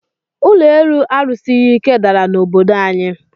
Ụlọ elu a rusighi ike dàrà na obodo anyi